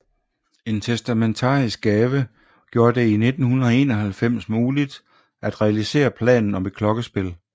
En testamentarisk gave gjorde det i 1991 muligt at realisere planen om et klokkespil